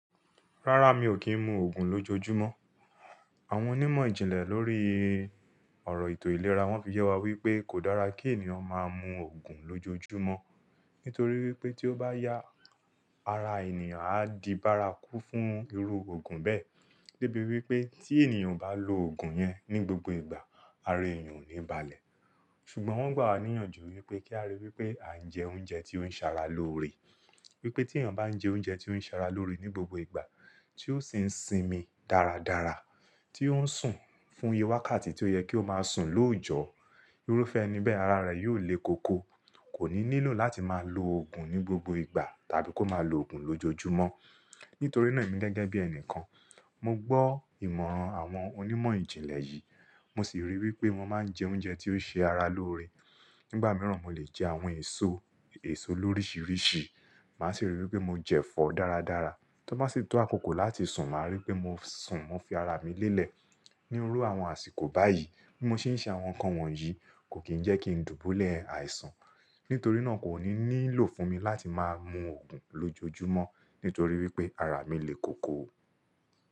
Rárá, mi ò kí ń mu Ògùn lójojúmọ́. Àwọn onímọ̀ ìjìnlẹ̀ lórí ọ̀rọ̀ ètò ìlera wọ́n fi jẹ́ wa wípé kò dára kí ènìyàn máa ń mu Ògùn lójojúmọ́. Nítorí wípé tí ó bá yá, ara ènìyàn á di bárakú fún irú Ògùn bẹ́ẹ̀. Débí wípé tí ènìyàn bá lo Ògùn yẹn ní gbogbo ìgbà, ara ènìyàn ò ní balẹ̀. Ṣùgbọ́n wọ́n gbà wá níyànjú wípé kí á ríi wípé à ń jẹ oúnjẹ tí ó ń ṣara loore. Wípé tí ènìyàn bá ń jẹ oúnjẹ tí ó ń ṣara loore ní gbogbo ìgbà, tí ó sì ń sinmi dáradára, tí ó ń sùn fún ìye wákàtí tí ó yẹ kí ó máa sùn lójọ́, irúfẹ́ ẹni bẹ́ẹ̀, ara rẹ̀ yóò le koko, kò ní nílò láti máa lo Ògùn ní gbogbo ìgbà tàbí kó máa lo Ògùn lójojúmọ́. Nítorí náà, èmi gẹ́gẹ́ bí ẹnìkan, mo gbọ́ ìmọ̀ràn àwọn onímọ̀ ìjìnlẹ̀ yìí, mo sì ríi wípé wọ́n máa ń jẹ oúnjẹ tí ó ṣe ara loore. Nígbà mìíràn, mo lè jẹ àwọn èso, èso lórísìírísìí, màá sì ríi wípé mo jẹ̀fọ́ dáradára. Tí wọ́n bá sì tọ́ àkókò láti sùn, màá ríi pé mo sùn, mo fi ara mi lélẹ̀. Ní irú àwọn àsìkò báyìí tí mo ṣì ń ṣe àwọn nǹkan wọ̀nyí, kò kì í jẹ́ kí ń dùbúlẹ̀ àìsàn. Nítorí náà, kò ní nílò fún mi láti máa mu Ògùn lójojúmọ́ nítorí wípé ara mi le koko.